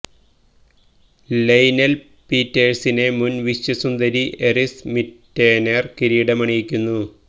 ലെയ് Nel പീറ്റേഴ്സിനെ മുൻ വിശ്വസുന്ദരി ഐറിസ് മിറ്റെനേർ കിരീടമണിയിക്കുന്നു